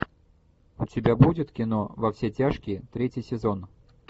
у тебя будет кино во все тяжкие третий сезон